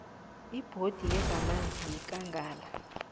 ibhodi yezamanzi yekangala